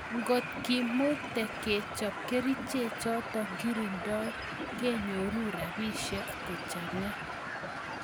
Ngotkimuktee kechoop kericheek chotok kirindoi kenyoru rapisiek kochanga